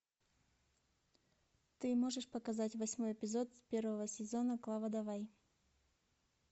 ты можешь показать восьмой эпизод первого сезона клава давай